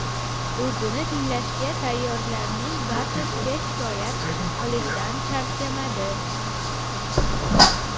O‘zini tinglashga tayyorlarning barchasiga shikoyat qilishdan charchamadi.